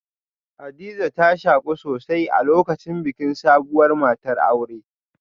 Hadiza ta shaku sosai a lokacin bikin sabuwar matar aure